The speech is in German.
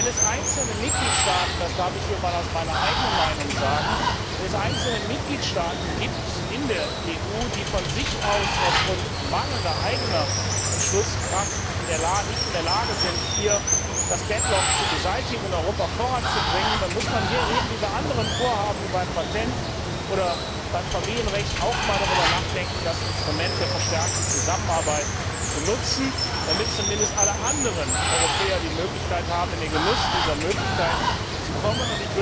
Wenn es einzelne Mitgliedstaaten das darf ich hier einmal als meine eigene Meinung sagen in der EU gibt, die von sich aus aufgrund mangelnder eigener Entschlusskraft nicht in der Lage sind, hier das deadlock zu beseitigen und Europa voranzubringen, dann muss man hier eben wie bei anderen Vorhaben wie beim Patent oder beim Familienrecht auch mal darüber nachdenken, das Instrument der verstärkten Zusammenarbeit zu nutzen, damit zumindest alle anderen Europäer die Möglichkeit haben, in den Genuss dieser Möglichkeit zu kommen.